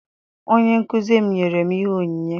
Onyenkụzi m nyere m ihe onyinye.